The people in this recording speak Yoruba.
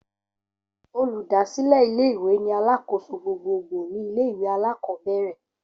Olùdásílé ilé ìwé ni alákòóso gbogboogbò ní ilé ìwé alákòóbèrè